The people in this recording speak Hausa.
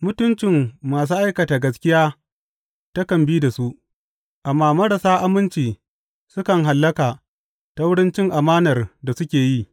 Mutuncin masu aikata gaskiya takan bi da su, amma marasa aminci sukan hallaka ta wurin cin amanar da suke yi.